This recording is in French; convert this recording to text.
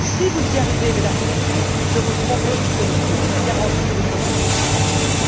Si vous y arrivez, Mesdames et Messieurs, je vous le promets, c'est le succès garanti aux prochaines élections européennes.